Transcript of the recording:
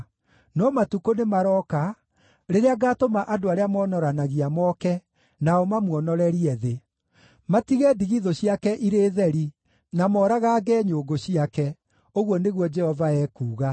No matukũ nĩmarooka, rĩrĩa ngaatũma andũ arĩa monoranagia moke, nao mamuonorerie thĩ; matige ndigithũ ciake irĩ theri, na moragaange nyũngũ ciake,” ũguo nĩguo Jehova ekuuga.